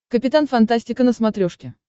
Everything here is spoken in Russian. капитан фантастика на смотрешке